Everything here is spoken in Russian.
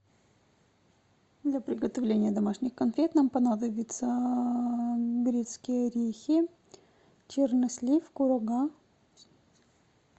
для приготовления домашних конфет нам понадобятся грецкие орехи чернослив курага